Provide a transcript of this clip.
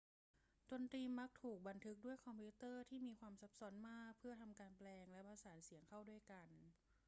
ดนตรีมักถูกบันทึกด้วยคอมพิวเตอร์ที่มีความซับซ้อนมากเพื่อทำการแปลงและผสานเสียงเข้าด้วยกัน